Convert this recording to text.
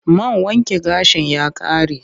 Man wanke gashin ya ƙare